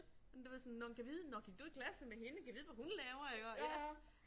Jamen det var sådan nåh men gad vide, nå gik du klasse med hende, gad vide hvad hun laver igå ja